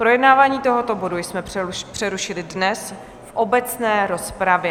Projednávání tohoto bodu jsme přerušili dnes v obecné rozpravě.